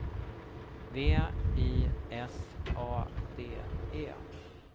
V I S A D E